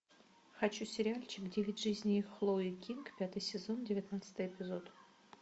хочу сериальчик девять жизней хлои кинг пятый сезон девятнадцатый эпизод